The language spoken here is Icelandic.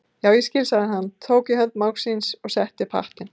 Já, ég skil sagði hann, tók í hönd mágs síns og setti upp hattinn.